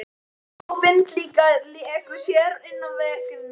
Sól og vindar léku sér innan veggja.